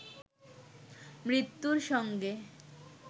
মৃত্যুর সঙ্গে